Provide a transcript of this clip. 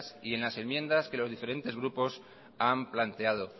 y en las enmiendas que los diferentes grupos han planteado